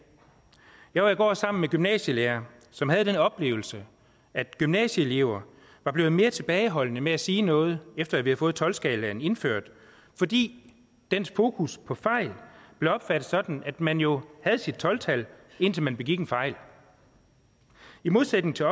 jeg var i går sammen med gymnasielærere som havde den oplevelse at gymnasieelever var blevet mere tilbageholdende med at sige noget efter at vi havde fået tolv skalaen indført fordi dens fokus på fejl blev opfattet sådan at man jo havde sit tolv tal indtil man begik en fejl i modsætning til